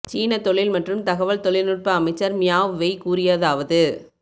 சீனத் தொழில் மற்றும் தகவல் தொழில்நுட்ப அமைச்சர் மியாவ் வெய் கூறியதாவது